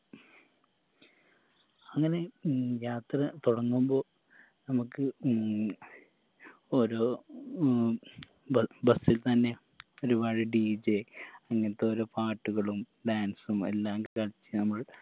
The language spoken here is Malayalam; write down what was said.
അങ്ങനെ ഉം യാത്ര തൊടങ്ങുമ്പോ നമ്മക്ക് ഉം ഒരു ഉം ബ bus ത്തന്നെ ഒരുപാട് DJ അങ്ങൻതോരോ പാട്ടുകളും dance ഉം എല്ലാം കളിച്ചു നമ്മൾ